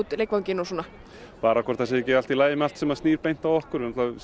leikvanginn og svona bara hvort það sé ekki allt í lagi sem snýr beint að okkur